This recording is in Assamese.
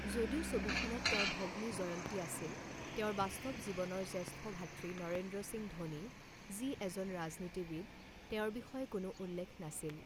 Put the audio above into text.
যদিও ছবিখনত তেওঁৰ ভগ্নী জয়ন্তী আছিল, তেওঁৰ বাস্তৱ জীৱনৰ জ্যেষ্ঠ ভাতৃ নৰেন্দ্ৰ সিং ধোনী, যি এজন ৰাজনীতিবিদ, তেওঁৰ বিষয়ে কোনো উল্লেখ নাছিল।